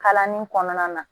Kalanni kɔnɔna na